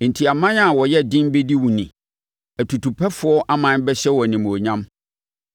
Enti aman a wɔyɛ den bɛdi wo ni atutupɛfoɔ aman bɛhyɛ wo animuonyam.